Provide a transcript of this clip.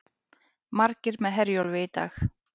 Margir með Herjólfi í dag